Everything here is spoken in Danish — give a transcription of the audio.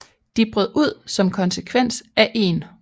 De brød ud som konsekvens af 1